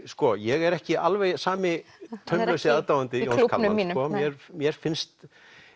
sko ég er ekki alveg sami taumlausi aðdáandi Jóns Kalmans mér finnst